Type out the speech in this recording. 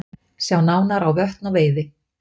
Sjá nánar á Vötn og veiði